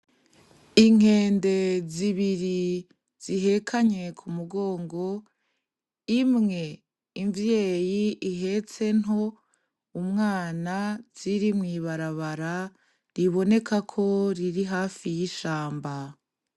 Inkende zibiri zihekanye ku mugongo imwe imvyeyi ihetse nto umwana ziri mu ibarabara riboneka ko riri hafi y'ishamba.